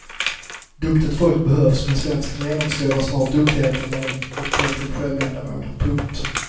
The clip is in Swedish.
Duktigt folk behövs men svensken genomskådar snart duktigheten när den blir till självändamål. punkt